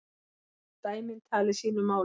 Dæmin tali sínu máli.